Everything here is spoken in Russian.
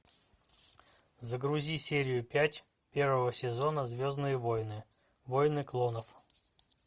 загрузи серию пять первого сезона звездные воины воины клонов